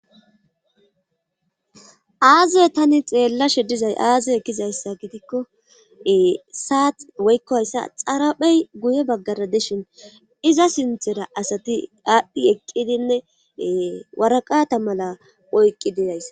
Aaziye tani xeellashe dizay aaziy ekkizayssa gidikko saat woykkoyssa xaraphey guye baggara dishin iza sinthera asati aadhdhi eqqidinne waraqata mala oyqqi didays.